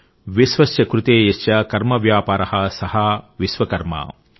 విశ్వస్య కృతే యస్య కర్మవ్యాపారః సః విశ్వకర్మ |